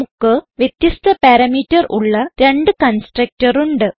നമുക്ക് വ്യത്യസ്ഥ പാരാമീറ്റർ ഉള്ള രണ്ട് കൺസ്ട്രക്ടർ ഉണ്ട്